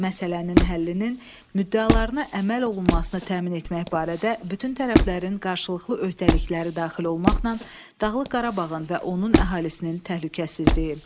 Məsələnin həllinin müddəalarına əməl olunmasını təmin etmək barədə bütün tərəflərin qarşılıqlı öhdəlikləri daxil olmaqla, Dağlıq Qarabağın və onun əhalisinin təhlükəsizliyi.